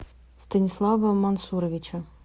станислава мансуровича